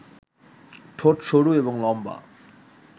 ঠোট সরু এবং লম্বা